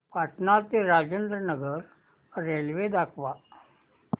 पटणा ते राजेंद्र नगर रेल्वे दाखवा